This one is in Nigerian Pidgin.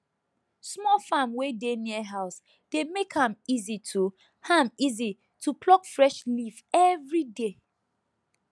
small farm wey dey near house dey make am easy to am easy to pluck fresh leaf every day